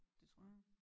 Det tror jeg